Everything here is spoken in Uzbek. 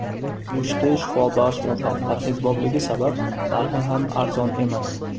Go‘shti shifobaxsh va parhezbopligi sabab, narxi ham arzon emas.